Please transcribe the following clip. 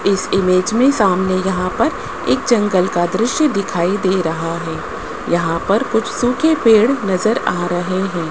इस इमेज में सामने यहां पर एक जंगल का दृश्य दिखाई दे रहा है यहां पर कुछ सूखे पेड़ नजर आ रहे हैं।